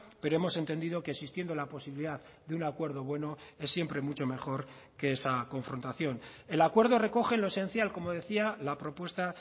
pero hemos entendido que existiendo la posibilidad de un acuerdo bueno es siempre mucho mejor que esa confrontación el acuerdo recoge lo esencial como decía la propuesta